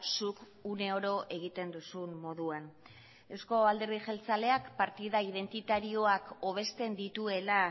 zuk uneoro egiten duzun moduan euzko alderdi jeltzaleak partida identitarioak hobesten dituela